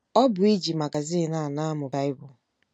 Ọ bụ iji magazin a na-amụ Baịbụl.